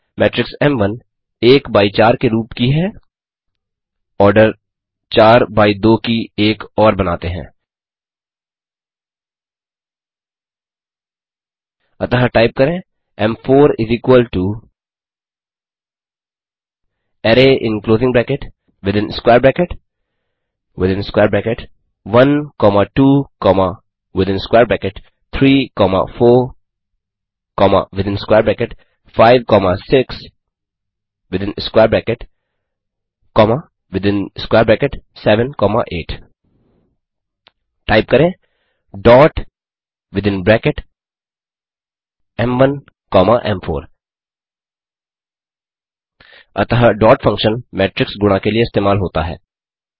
matrix M one एक by चार के रूप की है ऑर्डर चार बाई दो की एक और बनाते हैं अतः टाइप करें एम4 array in closing bracket within square bracket within square bracket 1 comma 2 comma within square bracket 3 comma 4 comma within square bracket 5 comma 6 within square bracket comma within square bracket 7 comma 8 type करें dot within bracket M one comma एम4 अतः dot function matrix गुणा के लिए इस्तेमाल होता है